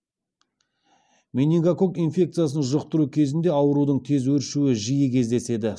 менингококк инфекциясын жұқтыру кезінде аурудың тез өршуі жиі кездеседі